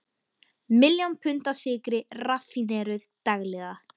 Miljón pund af sykri raffíneruð daglega.